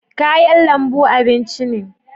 kayan lambu abinci ne